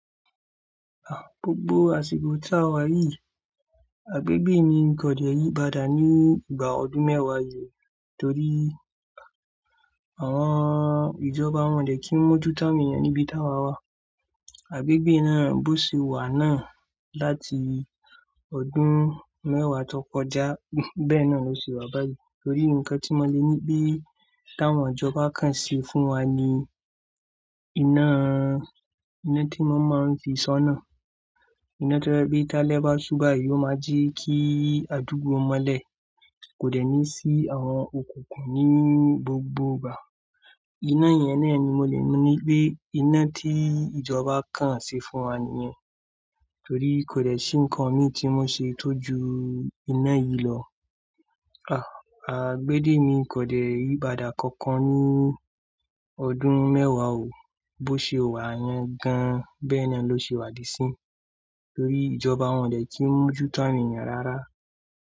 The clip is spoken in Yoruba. Ah, gbogbo àsiko tá wà yìí, agbégbé ni n kòdè yí bada ní ìgbà ọdún mẹ́wàá yìí torí àwọn ìjọba wọ̀n dẹ̀ kin mójú tá won ènìyàn níbi tá wà wà. Agbégbé náà bó se wà náà láti ọdún. Mẹ́wàá to kọjá bẹ́ẹ̀ náà ló se wà báyìí torí nǹkan tí mo lè ní pé táwọn ìjọba kan ṣe fún wa ni iná, iná tí wọ́n máa n fi sọ́nà. Iná tó je pe ta lẹ́ bá sú bá yìí, ó máa jí kí adúgbò mọ́lẹ̀ kò dẹ́ni sí àwọn òkùnkùn ní gbogbo ìgbà. Iná yẹn náà ni mo lè ní pé iná tí ìjọba kan ṣe fún wa nìyẹn torí kò dẹ́ṣi nǹkan mi tí wọn ṣe tójú iná yìí lọ. Ah, agbédé ni kò dẹ́ yìí pada kankan ní ọdún mẹ́wàá o, bó se wà yẹ́n gan bẹ́ẹ́ náà ló se wà di sínyí torí ìjọba wọ̀n dẹ̀ kin mójú tá won èeyàn rárá.